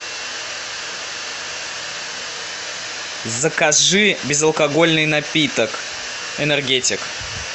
закажи безалкогольный напиток энергетик